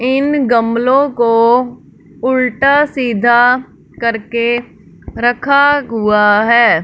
इन गमलों को उल्टा सीधा करके रखा हुआ है।